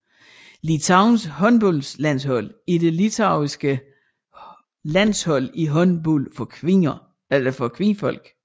Litauens håndboldlandshold er det litauiske landshold i håndbold for kvinder